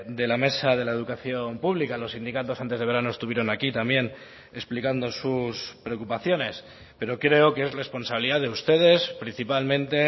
de la mesa de la educación pública los sindicatos antes de verano estuvieron aquí también explicando sus preocupaciones pero creo que es responsabilidad de ustedes principalmente